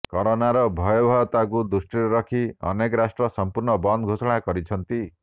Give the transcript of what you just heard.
କରୋନାର ଭୟବହତାକୁ ଦୃଷ୍ଟିରେ ରଖି ଅନେକ ରାଷ୍ଟ୍ର ସଂପୂର୍ଣ୍ଣ ବନ୍ଦ ଘୋଷଣା କରିଛନ୍ତି